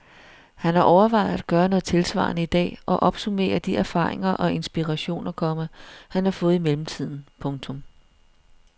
Han har overvejet at gøre noget tilsvarende i dag og opsummere de erfaringer og inspirationer, komma han har fået i mellemtiden. punktum